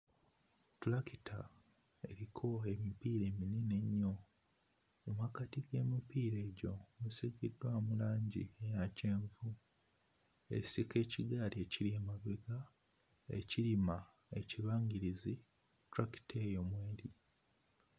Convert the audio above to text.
Ttulakita eriko emipiira eminene ennyo mu mmakati g'emipiira egyo esiigiddwamu langi eya kyenvu, esika ekigaali ekiri emabega ekirima ekibangirizi tractor eyo mw'eri.